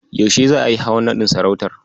Yaushe za'a yi hawan naɗin sarautar?